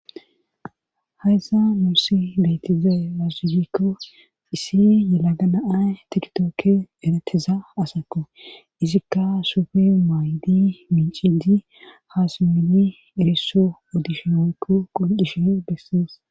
hayas nusi deytiza yasufikko issi yelaga naay tiktookke eretiza asako izikka sufey maayidi mincidi haasimedi erisso odisheoykko qol7ishe bessees